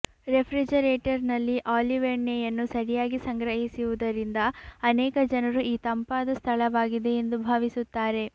ರೆಫ್ರಿಜಿರೇಟರ್ನಲ್ಲಿ olive ಎಣ್ಣೆಯನ್ನು ಸರಿಯಾಗಿ ಸಂಗ್ರಹಿಸುವುದರಿಂದ ಅನೇಕ ಜನರು ಈ ತಂಪಾದ ಸ್ಥಳವಾಗಿದೆ ಎಂದು ಭಾವಿಸುತ್ತಾರೆ